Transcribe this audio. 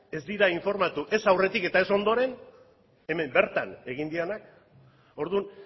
ez dira informatu ez aurretik eta ez ondoren hemen bertan egin direnak orduan